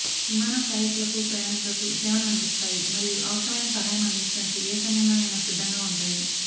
విమాన సహాయకులకు ప్రయాణీకులకు సేవలను అందిస్తాయి మరియు అవసరమైన సహాయం అందించడానికి ఏ సమయంలోనైనా సిద్ధంగా ఉంటాయి